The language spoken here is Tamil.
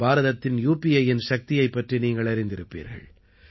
பாரதத்தின் யுபிஐயின் சக்தியைப் பற்றி நீங்கள் அறிந்திருப்பீர்கள்